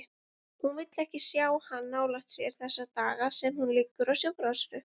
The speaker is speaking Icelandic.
Hún vill ekki sjá hann nálægt sér þessa daga sem hún liggur á sjúkrahúsinu.